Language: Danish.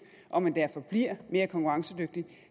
og man derfor bliver mere konkurrencedygtig